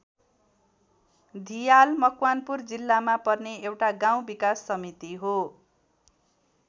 धियाल मकवानपुर जिल्लामा पर्ने एउटा गाउँ विकास समिति हो।